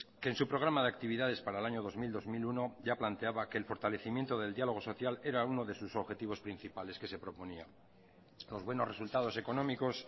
que en su programa de actividades para el año dos mil dos mil uno ya planteaba que el fortalecimiento del diálogo social era uno de sus objetivos principales que se proponía los buenos resultados económicos